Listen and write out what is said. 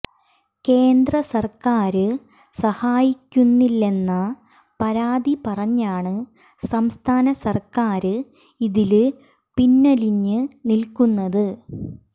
കേന്ദ്രസര്ക്കാര് സഹായിക്കുന്നില്ലെന്ന പരാതി പറഞ്ഞാണ് സംസ്ഥാന സര്ക്കാര് ഇതില് പിന്വലിഞ്ഞ് നില്ക്കുന്നത്